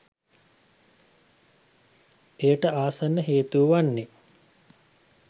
එයට ආසන්න හේතුව වන්නේ